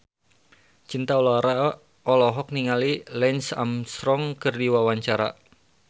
Cinta Laura olohok ningali Lance Armstrong keur diwawancara